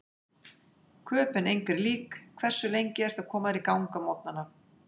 Köben engri lík Hversu lengi ertu að koma þér í gang á morgnanna?